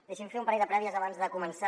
deixi’m fer un parell de prèvies abans de començar